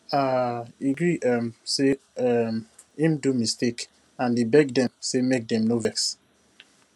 um he gree um say um him do mistake and he beg dem say make dem no vex